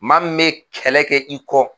Maa min bɛ kɛlɛ kɛ i kɔ